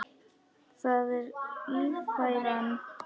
Það er Ífæran.